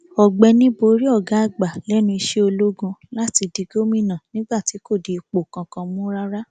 ọgbẹni borí ọgá àgbà lẹnu iṣẹ ológun láti di gómìnà nígbà tí kò di ipò kankan mú rárá